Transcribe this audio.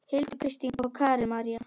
Hildur, Kristín og Karen María.